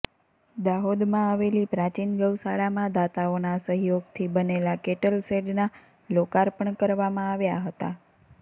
દાહોદમાં આવેલી પ્રાચીન ગૌશાળામાં દાતાઓના સહયોગથી બનેલા કેટલ શેડના લોકાર્પણ કરવામાં આવ્યા હતા